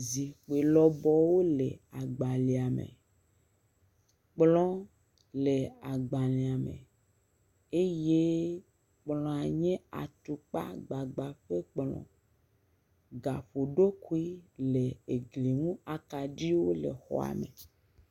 Zikpui lɔbɔwo le agbalẽa me, kplɔ le agbalẽa me eye kplɔa nye atukpa gbagba ƒe kplɔ. Gaƒoɖokui le gli ŋu, akaɖiwo le exɔa me.